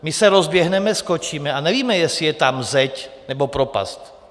My se rozběhneme, skočíme a nevíme, jestli je tam zeď, nebo propast.